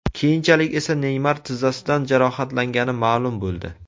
Keyinchalik esa Neymar tizzasidan jarohatlangani ma’lum bo‘ldi.